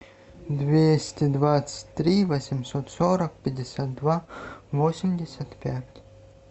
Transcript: двести двадцать три восемьсот сорок пятьдесят два восемьдесят пять